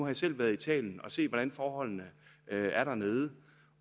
jeg selv været i italien og set hvordan forholdene er dernede